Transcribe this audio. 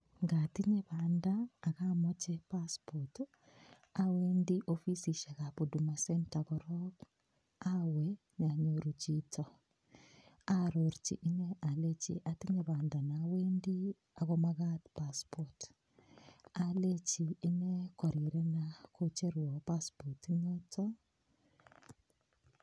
Ngatinye banda ak amache passport ii, awendi ofisisiekab Huduma centre, korok awe anyoru chito arorchi ine alechi, atinye banda ne awendi ak komakat passport[cs, alechi ine korirena kocherwa passport inoto.....